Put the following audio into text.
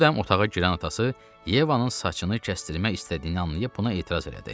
Bu dəm otağa girən atası Yevanın saçını kəstirmək istədiyini anlayıb, buna etiraz elədi.